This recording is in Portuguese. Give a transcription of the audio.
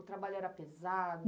O trabalho era pesado?